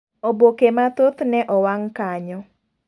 Oboke mathoth ne owang' kanyo.